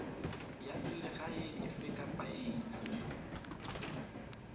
ya selegae efe kapa efe